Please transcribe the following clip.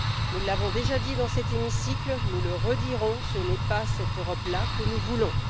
Nous l'avons déjà dit dans cet hémicycle et nous le redirons, ce n'est pas cette Europe là que nous voulons.